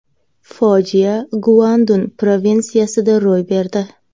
Fojia Guandun provinsiyasida ro‘y berdi.